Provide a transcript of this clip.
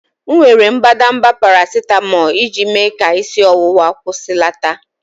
M were mbadamba paracetamol iji mee ka isi ọwụwa kwụsịlata.